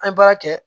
An ye baara kɛ